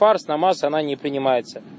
парз намаз она не принимается